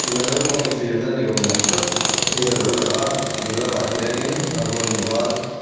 naupang infiamna ni awm ang tak hi a lo lang a ding lamah hianin a vawn ban--